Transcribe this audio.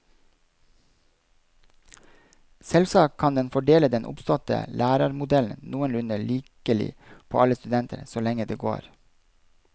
Selvsagt kan den fordele den oppståtte lærerarmoden noenlunde likelig på alle studenter, så lenge det går.